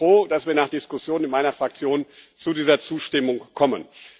Und ich bin froh, dass wir nach Diskussionen mit meiner Fraktion zu dieser Zustimmung kommen.